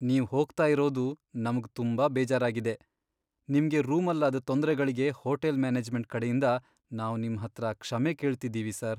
ನೀವ್ ಹೋಗ್ತಾ ಇರೋದು ನಮ್ಗ್ ತುಂಬಾ ಬೇಜಾರಾಗಿದೆ, ನಿಮ್ಗೆ ರೂಮಲ್ಲಾದ್ ತೊಂದ್ರೆಗಳ್ಗೆ ಹೋಟೆಲ್ ಮ್ಯಾನೇಜ್ಮೆಂಟ್ ಕಡೆಯಿಂದ ನಾವ್ ನಿಮ್ಹತ್ರ ಕ್ಷಮೆ ಕೇಳ್ತಿದೀವಿ ಸರ್.